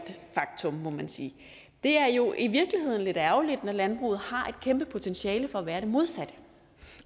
faktum må man sige det er jo i virkeligheden lidt ærgerligt når landbruget har et kæmpe potentiale for at være det modsatte